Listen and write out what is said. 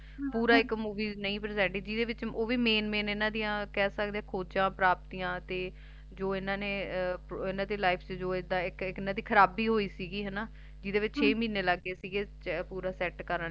ਪੂਰੀ ਇਕ Movie represent ਨਹੀ ਕੀਤੀ ਓਹ ਵੀ Main main ਇਹਨਾਂ ਦੀਆਂ ਕਹਿ ਸਕਦੇ ਆ ਖੋਜਾ ਪ੍ਰਾਪਤੀਆਂ ਤੇ ਜੌ ਇਹਨਾਂ ਨੇ ਇਹਨਾਂ ਦੀ Life ਚ ਖਰਾਬੀ ਹੋਈ ਸੀ ਜਿਹੜੇ ਵਿੱਚ ਛੇ ਮਹੀਨੇ ਲੱਗ ਗਏ ਸਿਗੇ ਪੂਰਾ Set ਕਰਨ ਲਈ